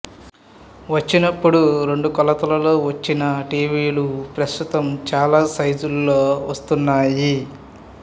వచినప్పుడు రెండు కొలతల్లో వచ్చిన టీవీ లు ప్రస్తుతం చాలా సైజులలో వస్తున్నాయి